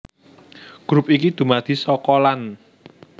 Grup iki dumadi saka lan